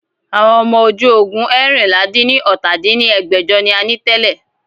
Àwọn ọmọ ojú ogun eérinlá-dín-ní-ọ́ta dín ní ẹgbẹ́jọ ni a ní tẹ́lẹ̀